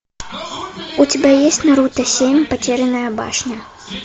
у тебя есть наруто семь потерянная башня